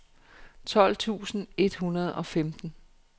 tolv tusind et hundrede og femten